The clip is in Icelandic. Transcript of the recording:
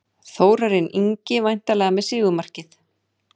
Þórarinn Ingi væntanlega með sigurmarkið.